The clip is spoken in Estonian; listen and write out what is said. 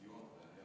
Hea juhataja!